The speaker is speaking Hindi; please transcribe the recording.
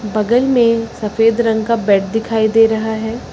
बगल में सफेद रंग का बेड दिखाई दे रहा है।